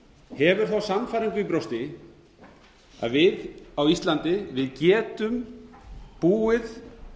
hefur þá sannfæringu í brjósti að við á íslandi getum búið